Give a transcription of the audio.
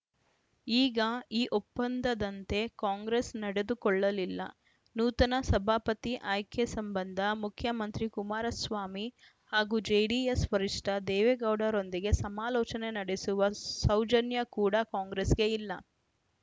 ಈಗ ಈ ಒಪ್ಪಂದದಂತೆ ಕಾಂಗ್ರೆಸ್‌ ನಡೆದುಕೊಳ್ಳಲಿಲ್ಲ ನೂತನ ಸಭಾಪತಿ ಆಯ್ಕೆ ಸಂಬಂಧ ಮುಖ್ಯಮಂತ್ರಿ ಕುಮಾರಸ್ವಾಮಿ ಹಾಗೂ ಜೆಡಿಎಸ್‌ ವರಿಷ್ಠ ದೇವೇಗೌಡರೊಂದಿಗೆ ಸಮಾಲೋಚನೆ ನಡೆಸುವ ಸೌಜನ್ಯ ಕೂಡ ಕಾಂಗ್ರೆಸ್‌ಗೆ ಇಲ್ಲ